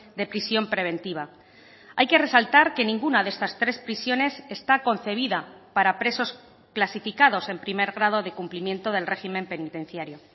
de prisión preventiva hay que resaltar que ninguna de estas tres prisiones está concebida para presos clasificados en primer grado de cumplimiento del régimen penitenciario